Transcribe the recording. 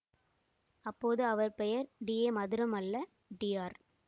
அப்போது அவர் பெயர் டிஏ மதுரம் அல்ல டி ஆர்